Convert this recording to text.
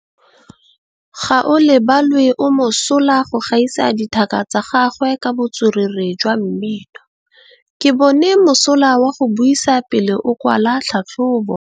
Gaolebalwe o mosola go gaisa dithaka tsa gagwe ka botswerere jwa mmino. Ke bone mosola wa go buisa pele o kwala tlhatlhobô.